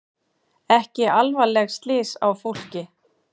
Ekki alvarleg slys á fólki